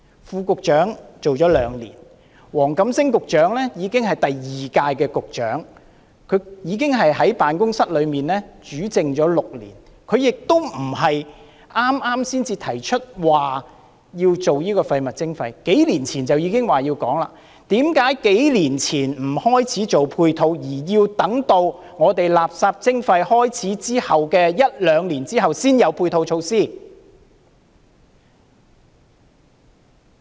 副局長做了兩年，黃錦星局長也已經做了兩屆局長，已在辦公室內主政6年，亦不是剛剛才提出落實垃圾徵費，數年前已表示要落實，那為何數年前不開始制訂配套，而要等到垃圾徵費開始後一兩年，才有配套措施？